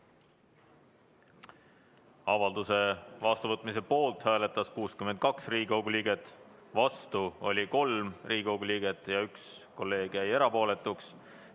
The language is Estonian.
Avalduse vastuvõtmise poolt hääletas 62 Riigikogu liiget, vastu oli 3 Riigikogu liiget ja 1 kolleeg jäi erapooletuks.